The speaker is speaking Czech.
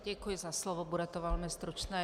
Děkuji za slovo, bude to velmi stručné.